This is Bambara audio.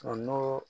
n'o